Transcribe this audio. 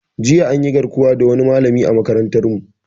Jiya anyi garkuwa da wani malami a makarantar mu